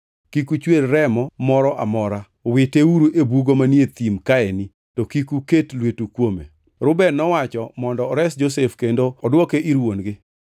Kik uchwer remo moro amora, witeuru e bugo manie thim kaeni, to kik uket lwetu kuome.” Reuben nowacho mondo ores Josef kendo odwoke ir wuon-gi.